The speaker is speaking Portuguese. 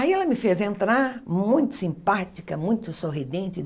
Aí ela me fez entrar, muito simpática, muito sorridente.